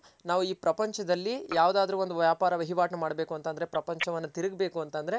ನಾವ್ ಇ ಪ್ರಪಂಚದಲ್ ಯಾವ್ದಾದ್ರು ಒಂದ್ ವ್ಯಾಪಾರ ವಹಿವಾಟು ಮಾಡ್ಬೇಕು ಅಂತ ಅಂದ್ರೆ ಪ್ರಪಂಚವನ್ ತಿರುಗ್ ಬೇಕು ಅಂದ್ರೆ